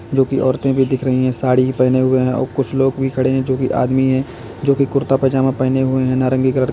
जोकि औरतें भी दिख रही हैं साड़ी पहने हुए हैं और कुछ लोग भी खड़े हैं जो कि आदमी हैं जो की कुर्ता पजामा पहने हुए हैं नारंगी कलर का।